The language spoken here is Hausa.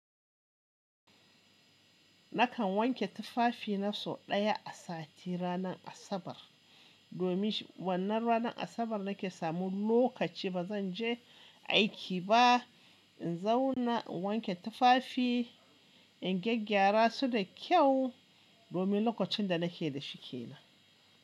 Nakan wanke tufafi na sau ɗaya a sati ranar Asabar. Domin wannan ranar Asabar nake samun lokaci ba zan je aiki ba. In zauna in wanke tufafi, in gyaggyara su da kyau domin lokacin da nake da shi ke nan.